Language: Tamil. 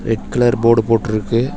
ரெட் கலர் போர்டு போட்டு இருக்கு.